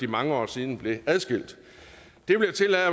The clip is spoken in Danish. mange år siden blev adskilt det vil jeg